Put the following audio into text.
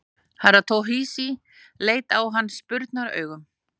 Herra Toshizi leit á hann spurnaraugum.